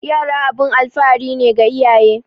Yara abun alfahari ne ga iyaye